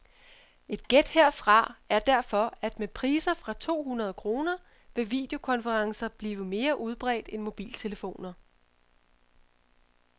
Et gæt herfra er derfor, at med priser fra to hundrede kroner vil videokonferencer blive mere udbredt end mobiltelefoner.